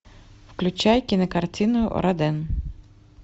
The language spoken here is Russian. включай кинокартину роден